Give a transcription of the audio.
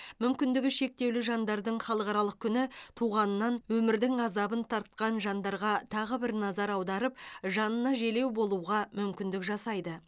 мүмкіндігі шектеулі жандардың халықаралық күні туғанынан өмірдің азабын тартқан жандарға тағы бір назар аударып жанына желеу болуға мүмкіндік жасайды